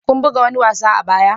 kun buga wani wasa a baya?